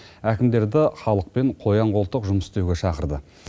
әкімдерді халықпен қоян қолтық жұмыс істеуге шақырды